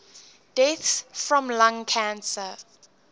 deaths from lung cancer